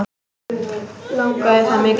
Langaði það mikið.